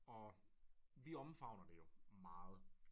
Og vi omfavner det jo meget